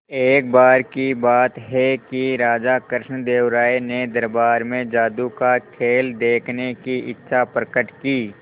एक बार की बात है कि राजा कृष्णदेव राय ने दरबार में जादू का खेल देखने की इच्छा प्रकट की